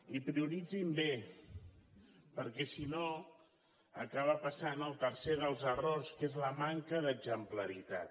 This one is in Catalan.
i prioritzin bé perquè si no acaba passant el tercer dels errors que és la manca d’exemplaritat